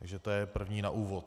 Takže to je první na úvod.